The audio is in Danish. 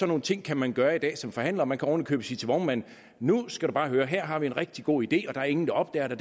nogle ting kan man gøre i dag som forhandler man kan oven i købet sige til vognmanden nu skal du bare høre her har vi en rigtig god idé og der er ingen der opdager det